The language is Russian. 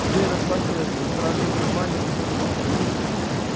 дверь распахивается и страшный трамвай летит на него